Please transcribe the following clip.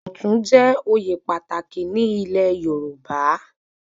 Ọ̀tún jẹ oyè pàtàkì ní ilé Yorùbá